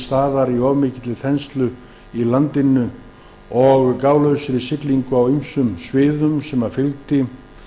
staðar í of mikilli þenslu í landinu og gálausri siglingu á ýmsum sviðum sem fylgdi